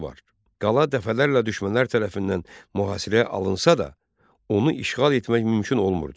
Qala dəfələrlə düşmənlər tərəfindən mühasirəyə alınsa da, onu işğal etmek mümkün olmurdu.